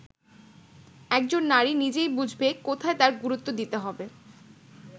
একজন নারী নিজেই বুঝবে কোথায় তার গুরুত্ব দিতে হবে”।